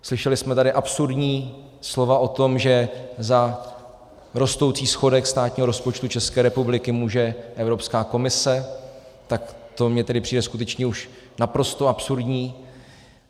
Slyšeli jsme tady absurdní slova o tom, že za rostoucí schodek státního rozpočtu České republiky může Evropská komise, tak to mi tedy přijde skutečně už naprosto absurdní.